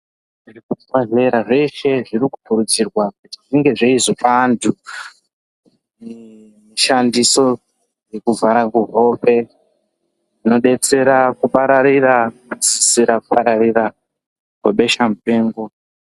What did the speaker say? Zvibhehlera zveshe zvirikukurudzirwa kunge zveizopa antu shandiso dzekuvhara kuhope zvinobetsera kudziirira kupararira kwebesha mupengo.